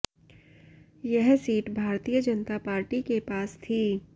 यह seat Bharatiya Janata Party के पास थी